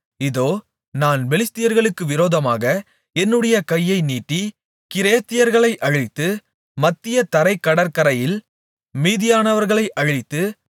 இதோ நான் பெலிஸ்தியர்களுக்கு விரோதமாக என்னுடைய கையை நீட்டி கிரேத்தியர்களை அழித்து மத்திய தரைக் கடற்கரையில் மீதியானவர்களை அழித்து